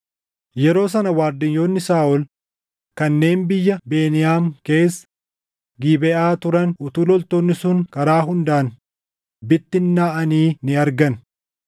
Yeroo sana waardiyyoonni Saaʼol kanneen biyya Beniyaam keessa Gibeʼaa turan utuu loltoonni sun karaa hundaan bittinnaaʼanii ni argan.